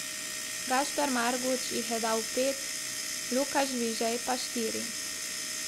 Gašper Marguč jih je dal pet, Luka Žvižej pa štiri.